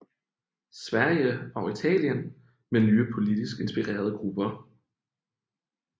Sverige og Italien med nye politisk inspirerede grupper